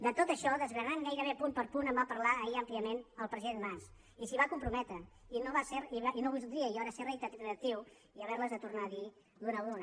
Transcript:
de tot això desgranant gairebé punt per punt en va parlar ahir àmpliament el president mas i s’hi va comprometre i no voldria jo ara ser reiteratiu i haverles de tornar a dir d’una en una